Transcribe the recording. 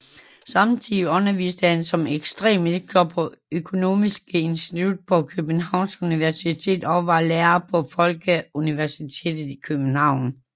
Samtidig underviste han som ekstern lektor på Økonomisk Institut på Københavns Universitet og var lærer på Folkeuniversitetet i København